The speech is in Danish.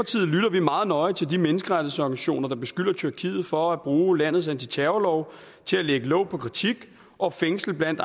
vi meget nøje til de menneskerettighedsorganisationer der beskylder tyrkiet for at bruge landets antiterrorlove til at lægge låg på kritik og fængsle blandt